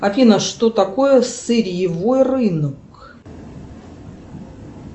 афина что такое сырьевой рынок